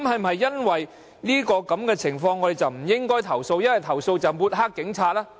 對於這種事件，我們是否不應投訴，而投訴便會抹黑警方？